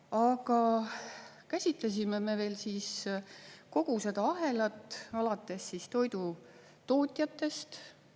Aga käsitlesime veel kogu seda ahelat, alates toidu tootjatest.